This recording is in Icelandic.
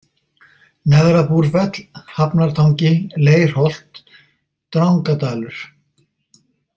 Neðra-Búrfell, Hafnartangi, Leirholt, Drangadalur